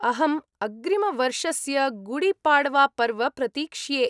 अहम् अग्रिमवर्षस्य गुडीपाड्वापर्व प्रतीक्ष्ये।